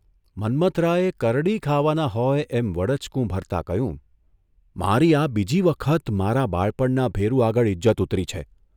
મન્મથરાયે કરડી ખાવાના હોય એમ વડચકું ભરતા કહ્યું, ' મારી આ બીજી વખત મારા બાળપણના ભેરુ આગળ ઇજ્જત ઉતરી છે.